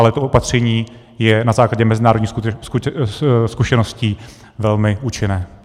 Ale to opatření je na základě mezinárodních zkušeností velmi účinné.